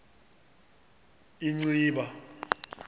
inciba